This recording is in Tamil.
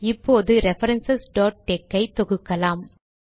இப்போது ரெஃபரன்ஸ் tex ஐ தொகுக்கலாம்